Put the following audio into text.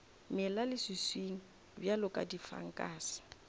mela leswiswing bjalo ka difankase